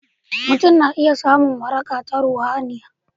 mutum zai iya samun waraka ta ruhaniya